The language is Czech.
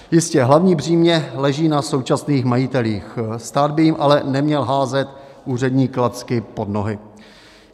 Jistě, hlavní břímě leží na současných majitelích, stát by jim ale neměl házet úřední klacky pod nohy.